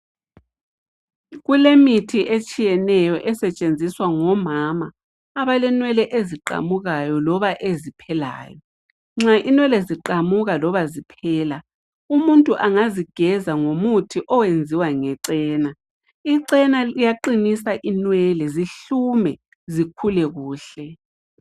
kulemithi etshiyenenyo esetshenziswa ngomama abalenwele eziqamukayo loba eziphelayo nxa inwele ziqamuka loba ziphela umuntu angazigeza ngomuthi oyenziwa ngechena ichena liyaqinisa inwele zihlume zikhule kuhle